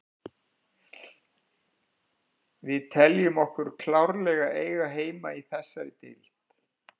Við teljum okkur klárlega eiga heima í þessari deild.